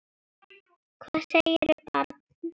Hvað segirðu barn?